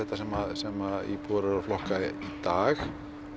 sem að íbúar eru að flokka í dag